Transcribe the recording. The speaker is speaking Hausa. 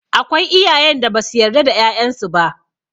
Akwai iyayen da ba su yarda da 'ya'yan su ba